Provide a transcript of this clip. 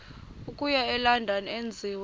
okuya elondon enziwe